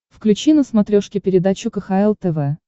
включи на смотрешке передачу кхл тв